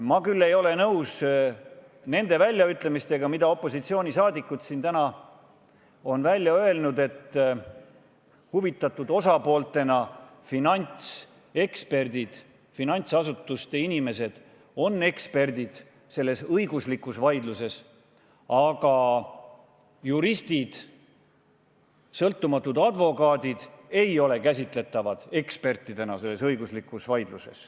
Ma küll ei ole nõus nende väljaütlemistega, mida opositsioonisaadikud siin täna on välja öelnud: et huvitatud osapooltena on finantseksperdid, finantsasutuste inimesed selles õiguslikus vaidluses eksperdid, aga juristid, sõltumatud advokaadid ei ole selles õigusvaldkonnas ekspertidena käsitatavad.